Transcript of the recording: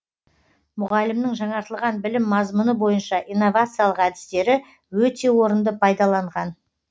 мұғалімнің жаңартылған білім мазмұны бойынша инновациялық әдістері өте орынды пайдаланған